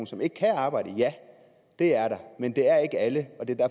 som ikke kan arbejde ja det er der men det er ikke alle